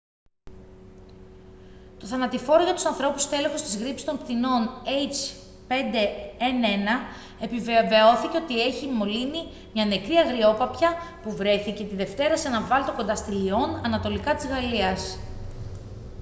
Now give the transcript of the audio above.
το θανατηφόρο για τους ανθρώπους στέλεχος της γρίπης των πτηνών h5n1 επιβεβαιώθηκε ότι είχε μολύνει μια νεκρή αγριόπαπια που βρέθηκε τη δευτέρα σε έναν βάλτο κοντά στη λυών ανατολικά της γαλλίας